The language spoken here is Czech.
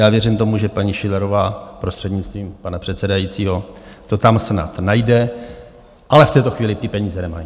Já věřím tomu, že paní Schillerová, prostřednictvím pana předsedajícího, to tam snad najde, ale v této chvíli ty peníze nemají.